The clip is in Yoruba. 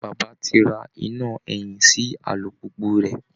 Bàbá ti ra iná ẹ̀yìn sí alùpùpù rẹ̀